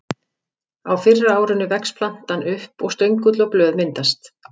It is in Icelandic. Á fyrra árinu vex plantan upp og stöngull og blöð myndast.